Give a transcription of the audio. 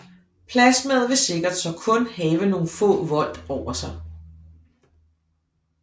Plasmaet vil sikkert så kun have nogle få volt over sig